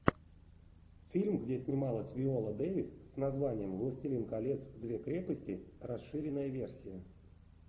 фильм где снималась виола дэвис с названием властелин колец две крепости расширенная версия